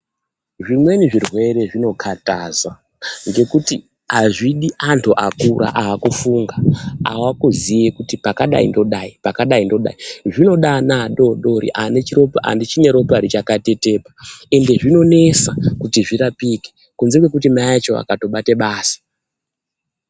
Zvimwe zvirwere zvinokhathaza ngekuti azvidi antu akura akufunga ava kuziya kuti pakadai ndodai pakadai ndodai zvinoda ana adodori achine ropa richakatetepa ende zvinonesa kuti zvirapike kunze kwekuti mai acho akatobate basa.